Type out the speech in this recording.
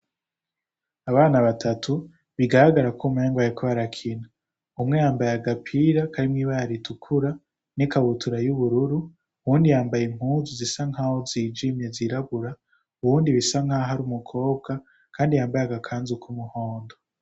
Abana batatu bigaragara ko umenga bariko barakina, umwe yambaye agapira karimwo ibara ritukura n'ikabutura y'ubururu, uwundi yambaye impuzu zisa nkaho zijimye zirabura, uwundi bisa nkaho ari umukobwa kandi yambaye agakanzu k'umuhondo.